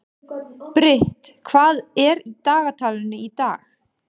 Brit, hvað er í dagatalinu í dag?